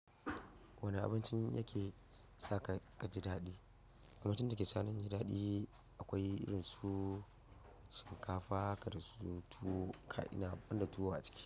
Wane abincin yake sa ka ka ji daɗi? Abincin da ke sa ni inji daɗi akwai irin su shinkafa haka da su tuwo kai ina ban da tuwo a ciki.